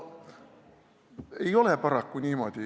Ei ole paraku niimoodi.